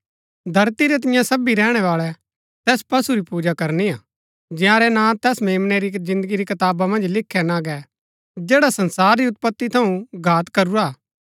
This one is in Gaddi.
धरती रै तिन्या सबी रैहणैवाळै तैस पशु री पूजा करनी हा जंयारै नां तैस मेम्नै री जिन्दगी री कताबा मन्ज लिखै ना गै जैडा संसार री उत्पति थऊँ घात करूरा हा